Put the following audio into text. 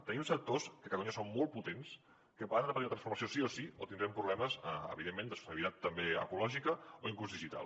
tenim sectors que a catalunya són molt potents que han de tenir una transformació sí o sí o tindrem problemes evidentment de sostenibilitat també ecològica o inclús digital